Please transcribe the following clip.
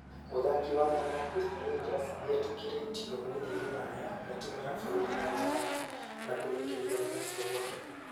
Mũthaki wa mwena wa Posta Rangers nĩetĩkĩrĩtio gũthiĩ rũraya na timũ ya bũrũri ya rũraya na kũrĩkĩrĩria gũthamio gwake.